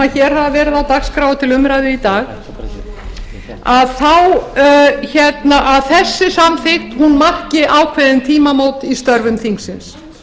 hér hafa verið á dagskrá og til umræðu í dag að þessi samþykkt marki ákveðin tímamót í störfum þingsins